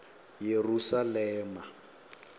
yerusalema